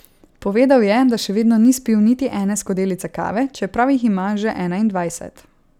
Povedal je, da še vedno ni spil niti ene skodelice kave, čeprav jih ima že enaindvajset.